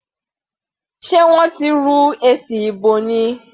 Sé wọ́n ti rú èsì ìbò ni?